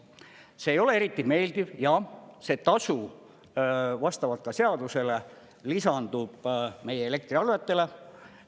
See ei ole eriti meeldiv ja see tasu vastavalt ka seadusele lisandub meie elektriarvetele.